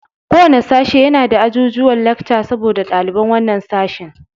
Kowanne sashe yana da ajujuwan lekca saboda ɗaliban wannan sashen.